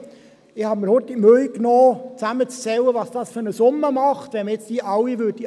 Ich habe mir kurz die Mühe gemacht, zusammenzuzählen, welche Summe es ausmacht, wenn man all diese annehmen würde.